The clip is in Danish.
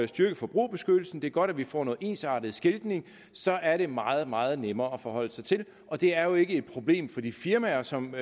styrket forbrugerbeskyttelsen det er godt at vi får noget ensartet skiltning så er det meget meget nemmere at forholde sig til og det er jo ikke et problem for de firmaer som